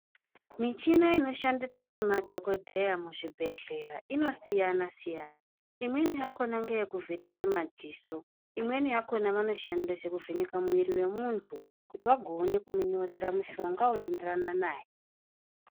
Michina ino shandiswa ne madhokodheya mu zvibhedhlera ino siyana siyana imweni yakona ngeye kuvheneke madziso imweni yakona vano shandisa kuvheneka mwiri we muntu kuti agoone kumu nyorera mushonga uno enderana naye.